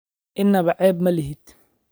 Innaba ceeb ma lihid.